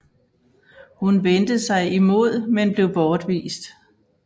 Hun vendte sig imod men blev bortvist